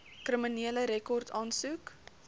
kriminele rekord aansoek